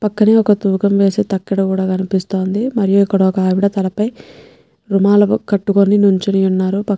పక్కనే ఒక్క తూకం వేసే తకడ కూడా కనిపిస్తుంది. మరియు ఇక్కడ ఒక్కావిడా తలపై రుమాలు కట్టుకొని నించొని ఉన్నారు. పక్--